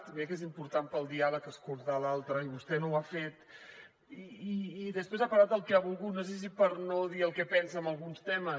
mira que és important per al diàleg escoltar a l’altre i vostè no ho ha fet i després ha parlat del que ha volgut no sé si per no dir el que pensa en alguns temes